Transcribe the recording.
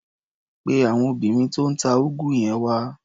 Pe àwọn obìnrin tó ń ta úgú yẹn wá.